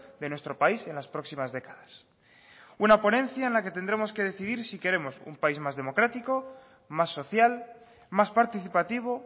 de nuestro país en las próximas décadas una ponencia en la que tendremos que decidir si queremos un país más democrático más social más participativo